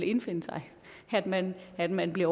indfinde sig at man at man bliver